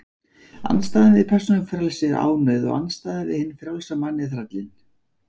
Andstæðan við persónufrelsi er ánauð, og andstæðan við hinn frjálsa mann er þrællinn.